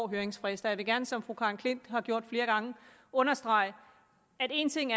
høringsfrister jeg vil gerne som fru karen klint har gjort flere gange understrege at en ting